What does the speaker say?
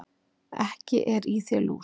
Ekki er í þér lús,